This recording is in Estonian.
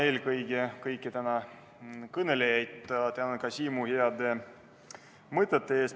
Ma tänan kõiki täna kõnelejaid, sealhulgas ka Siimu heade mõtete eest!